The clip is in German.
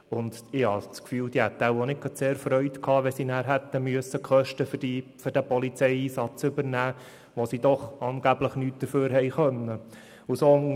Ich habe den Eindruck, dass die Organisatoren auch keine Freude gehabt hätten, wenn sie die Kosten für den Polizeieinsatz hätten übernehmen müssen, obwohl sie angeblich nichts dafür konnten.